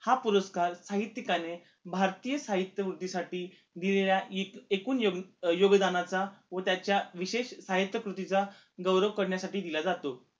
हा पुरस्कार साहित्यिकांनी भारतीय साहित्य वृद्धीसाठी दिलेल्या इकून एकून योगदानाचा व त्याच्या विषेश साहित्य कृतीचा गौरव करण्यासाठी दिला जातो